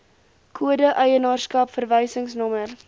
kode eienaarskap verwysingsnommer